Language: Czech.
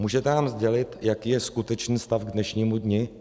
Můžete nám sdělit, jaký je skutečný stav k dnešnímu dni?